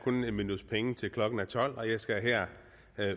kun et minuts penge til klokken er tolv og jeg skal her